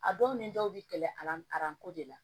A dɔw ni dɔw bi kɛlɛ de la